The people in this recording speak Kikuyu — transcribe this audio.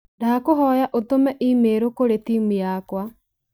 Ndagũkũhoya ũtũme i-mīrū kũrĩ timũ yakwa.